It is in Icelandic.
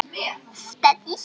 Þvílík steypa!